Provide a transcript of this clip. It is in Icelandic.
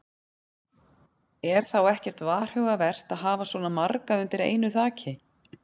Er þá ekkert varhugavert að hafa svona marga undir einu þaki?